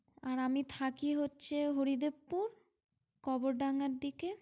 আর আমি থাকি হচ্ছে হরিদেবপুর কবর ডাঙ্গার দিকে।